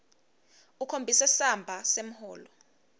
ukhombise samba semholo